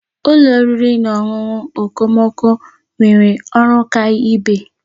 Ụlọ oriri na ọṅụṅụ okomoko nwere ọrụ ọkaibe.